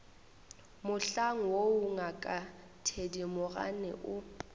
mohlang woo ngaka thedimogane o